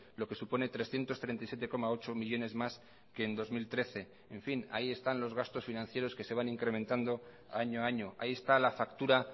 lo que supone trescientos treinta y siete coma ocho millónes más que en dos mil trece en fin ahí están los gastos financieros que se van incrementando año a año ahí está la factura